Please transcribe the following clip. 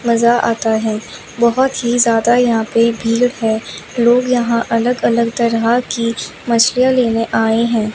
मजा आता है बहुत ही ज्यादा यहां पे भीड़ है लोग यहां अलग अलग तरह की मछलियां लेने आए हैं।